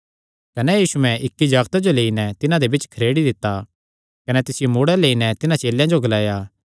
कने यीशुयैं इक्की जागते जो लेई नैं तिन्हां दे बिच्च खरेड़ी दित्ता कने तिसियो मूड़ै लेई नैं तिन्हां चेलेयां जो ग्लाया